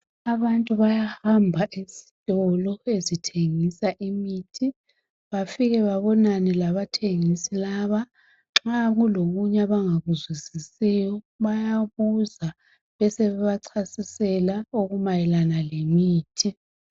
Abantu bayahamba ezitolo ezithengisa imithi bafike babonane labathengisi laba nxa kulokunye abangakuzwisisiyo bayabuza besebe bachasisela okumayelana lemithi.